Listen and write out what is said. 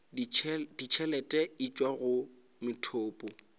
ditšhelete e tšwa go methopo